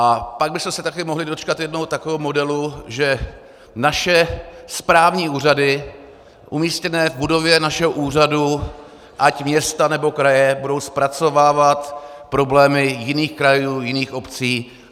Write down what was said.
A pak bychom se také mohli dočkat jednoho takového modelu, že naše správní úřady umístěné v budově našeho úřadu, ať města, nebo kraje, budou zpracovávat problémy jiných krajů, jiných obcí.